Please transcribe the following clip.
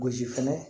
Gosi fɛnɛ